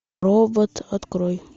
робот открой